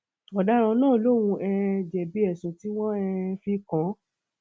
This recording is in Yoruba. ọdaràn náà lòun um jẹbi ẹsùn tí wọn um fi kàn án